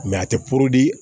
a tɛ